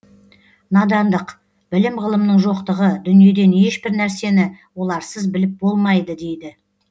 надандық білім ғылымның жоқтығы дүниеден ешбір нәрсені оларсыз біліп болмайды дейді